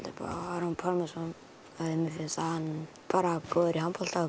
upp á Aron Pálmarsson því mér finnst hann góður í handbolta og